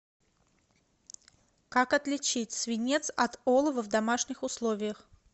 как отличить свинец от олова в домашних условиях